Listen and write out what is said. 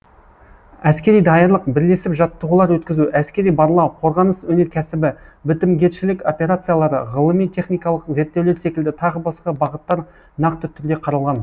әскери даярлық бірлесіп жаттығулар өткізу әскери барлау қорғаныс өнеркәсібі бітімгершілік опреациялары ғылыми техникалық зерттеулер секілді тағы басқа бағыттар нақты түрде қаралған